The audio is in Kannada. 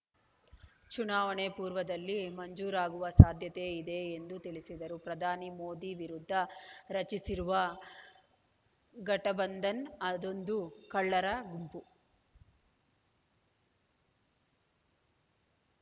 ಚುನಾವಣೆ ಪೂರ್ವದಲ್ಲಿ ಮಂಜೂರಾಗುವ ಸಾಧ್ಯತೆ ಇದೆ ಎಂದು ತಿಳಿಸಿದರು ಪ್ರಧಾನಿ ಮೋದಿ ವಿರುದ್ದ ರಚಿಸಿರುವ ಘಟಬಂಧನ್‌ ಅದೊಂದು ಕಳ್ಳರ ಗುಂಪು